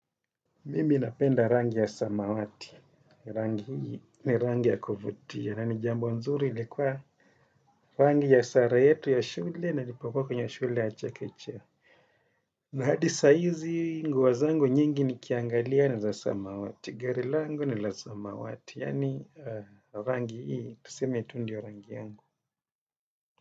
Mimi napenda rangi ya samawati, rangi ni rangi ya kuvutia, na ni jambo nzuri ilikuwa rangi ya sare yetu ya shule na nilipokua kwenye shule ya chakechea. Na hadi sa hizi nguo zangu nyingi nikiangalia ni za samawati, gari langu ni la samawati, yani rangi hii, tuseme tu ndio rangi yangu.